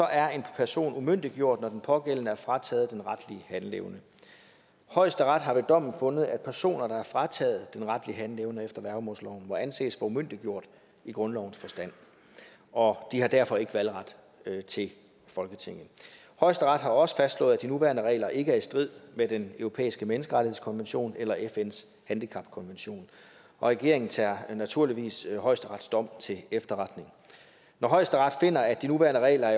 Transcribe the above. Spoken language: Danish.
er en person umyndiggjort når den pågældende er frataget den retlige handleevne højesteret har ved dommen fundet at personer der er frataget den retlige handleevne efter værgemålsloven må anses for umyndiggjort i grundlovens forstand og de har derfor ikke valgret til folketinget højesteret har også fastslået at de nuværende regler ikke er i strid med den europæiske menneskerettighedskonvention eller fns handicapkonvention og regeringen tager naturligvis højesterets dom til efterretning når højesteret finder at de nuværende regler